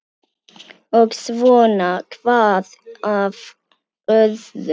Og svona hvað af öðru.